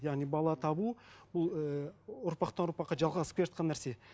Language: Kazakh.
яғни бала табу ол ііі ұрпақтан ұрпаққа жалғасып келе жатқан нәрсе